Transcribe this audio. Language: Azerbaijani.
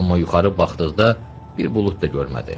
Amma yuxarı baxdıqda bir bulud da görmədi.